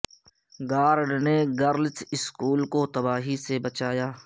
guard نے girls school کو تباہی سے بچا لیا